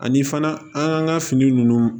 Ani fana an ka fini ninnu